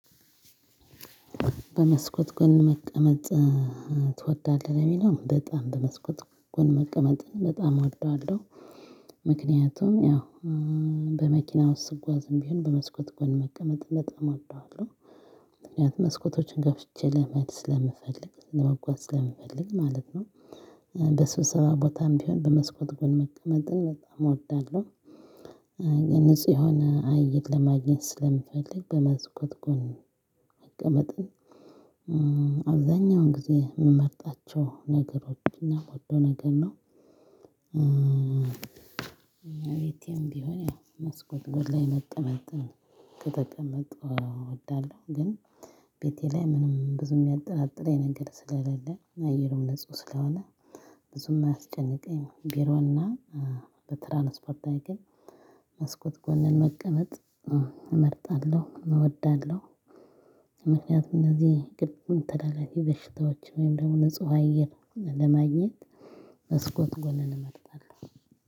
በመስኮት ጎን መቀመጥ ትወዳለህ ለሚለው በጣም በመስኮት ጎን መቀመጥን በጣም እወዳለሁ። ምክንያቱም ያው በመኪና ውስጥ ስጓዝም ቢሆን በመስኮት ጎን መቀመጥ በጣም እወዳለሁ። ምክንያቱም መስኮቶችን ከፍቼ ለማየት ስለምፈልግ ለመጓዝ ስለምፈልግ ማለት ነው። በስብሰባ ቦታም ቢሆን በመስኮት ጎን መቀመጥን በጣም እወዳለሁ። ንጹህ የሆነ አየር ለማግኘት ስለምፈልግ በመስኮት ጎን መቀመጥን አብዛኛውን ጊዜ የምመርጣቸው ነገሮችን እና ሁሉ ነገር ነው። ቤቴም ቢሆን መስኮት ጎን ላይ መጠመጥ ነው ከተቀመጥን እወዳለሁ። ግን ቤቴ ላይ ብዙም የማይጠረጥረኝ ነገር ስለለ አየር ንጽሁ ስለሆነ ብዙም አያስጨነቅም። ብሮ እና በትራንስፖርት ላይ ግን መስኮት ጎን መቀመጥ እመርጣለሁ እወዳለሁ። ምክንያቱም እነዚህ ግብም ተላላፊ በሽታዎች ወይም ደግሞ ንጹህ አየር ለማግኘት መስኮት ጎንን እመርጣለሁ።